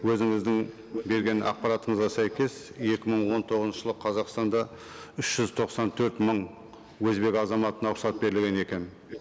өзіңіздің берген ақпаратыңызға сәйкес екі мың он тоғызыншы жылы қазақстанда үш жүз тоқсан төрт мың өзбек азаматына рұқсат берілген екен